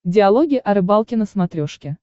диалоги о рыбалке на смотрешке